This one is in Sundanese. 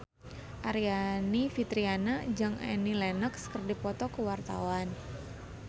Aryani Fitriana jeung Annie Lenox keur dipoto ku wartawan